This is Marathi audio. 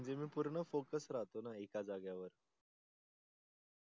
म्हणजे मी पूर्ण focus राहतो णा एका जागे वर